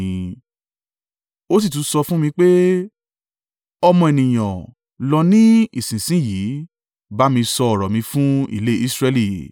Ó sì tún sọ fún mi pé, “Ọmọ ènìyàn, lọ ni ìsinsin yìí bá mi sọ ọ̀rọ̀ mi fún ilé Israẹli.